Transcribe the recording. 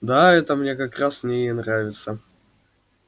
да это мне как раз в ней и нравится